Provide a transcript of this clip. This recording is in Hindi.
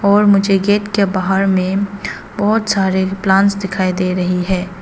और मुझे गेट के बाहर में बहोत सारे प्लांट्स दिखाई दे रही हैं।